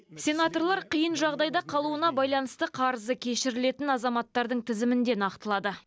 сенаторлар қиын жағдайда қалуына байланысты қарызы кешірілетін азаматтардың тізімін де нақтылады